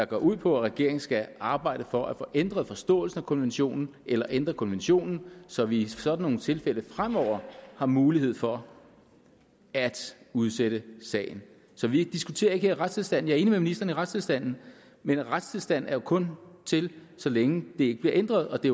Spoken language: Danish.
går ud på at regeringen skal arbejde for at få ændret forståelsen af konventionen eller ændret konventionen så vi i sådan nogle tilfælde fremover har mulighed for at udsætte sagen så vi diskuterer ikke retstilstanden er enig med ministeren i retstilstanden men retstilstanden er jo kun til så længe den ikke bliver ændret og det